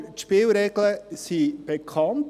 Die Spielregeln sind bekannt.